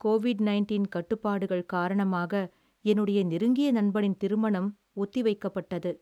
Covid nineteen கட்டுப்பாடுகள் காரணமாக என்னுடைய நெருங்கிய நண்பனின் திருமணம் ஒத்திவைக்கப்பட்டது.